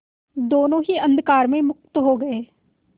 दोेनों ही अंधकार में मुक्त हो गए